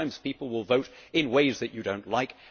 Sometimes people will vote in ways that you do not like.